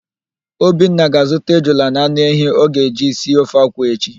Obinna ga-azụta ejula na anụ ehi ọ ga-eji si ofe akwụ echi.